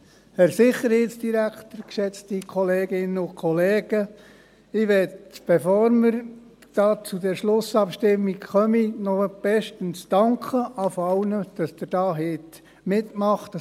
der SiK. Bevor wir zur Schlussabstimmung kommen, möchte ich zuerst einmal bestens dafür danken, dass Sie alle mitgemacht haben.